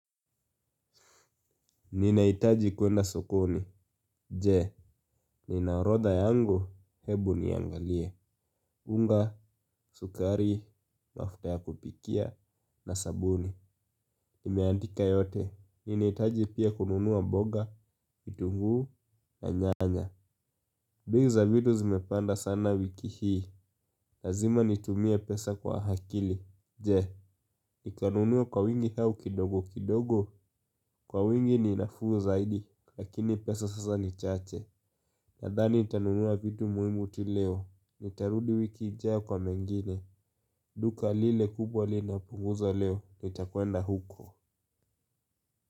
Ninahitaji kwenda sokoni, je, nina orodha yangu, hebu niangalie unga, sukari, mafuta ya kupikia, na sabuni. Nimeandika yote, ninahitaji pia kununua mboga, kitunguu, na nyanya. Bei za vitu zimepanda sana wiki hii, lazima nitumie pesa kwa akili. Je, nikanunua kwa wingi au kidogo kidogo, kwa wingi ni nafuu zaidi, lakini pesa sasa ni chache nadhani nitanunua vitu muhimu tu leo. Nitarudi wiki ijayo kwa mengine. Duka lile kubwa linapunguza leo. Nita kwenda huko.